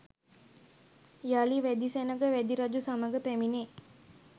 යළි වැදි සෙනඟ වැදි රජු සමග පැමිණේ.